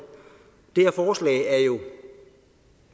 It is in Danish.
det her forslag er jo